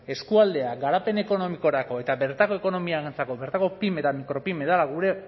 eskualdeak garapen ekonomikorako eta bertako ekonomiarentzako bertako pymes eta mikropyme dela gure